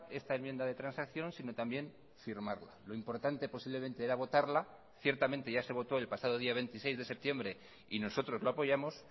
esta enmienda de transacción sino también firmarla lo importante posiblemente era votarla ciertamente ya se votó el pasado día veintiséis de septiembre y nosotros lo apoyamos